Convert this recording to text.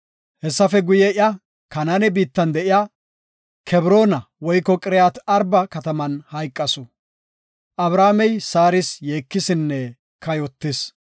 Hessafe guye, iya Kanaane biittan de7iya Qiriyaat-Arba (Kebroona) kataman hayqasu. Abrahaamey Saaris yeekisinne kayotis.